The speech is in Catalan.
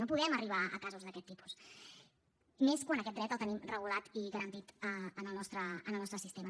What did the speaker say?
no podem arribar a casos d’aquest tipus i més quan aquest dret el tenim regulat i garantit en el nostre sistema